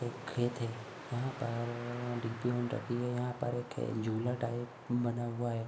एक खेत है। यहाँ पर र रखी है। यहाँ पर एक झूला टाइप बना हुआ है।